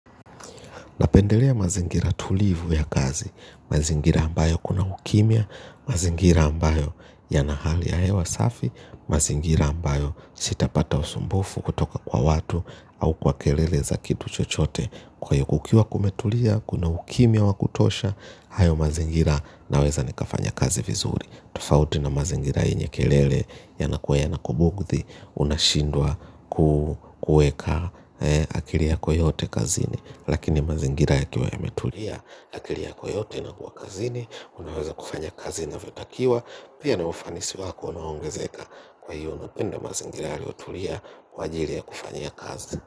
Napendelea mazingira tulivu ya kazi, mazingira ambayo kuna ukimya, mazingira ambayo yana hali ya hewa safi, mazingira ambayo sitapata usumbufu kutoka kwa watu au kwa kelele za kitu chochote kwa hiyo kukiwa kumetulia, kuna ukimya wa kutosha, hayo mazingira naweza nikafanya kazi vizuri. Tofauti na mazingira yenye kelele yanakuwa yanakubugudhi unashindwa kuweka akili yako yote kazini lakini mazingira yakiwa yametulia akili yako yote inakuwa kazini unaweza kufanya kazi inavyotakiwa pia na ufanisi wako unaongezeka kwa hiyo napenda mazingira yaliyotulia kwa ajili ya kufanyia kazi.